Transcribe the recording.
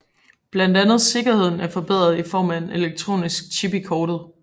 Blandt andet sikkerheden er forbedret i form af en elektronisk chip i kortet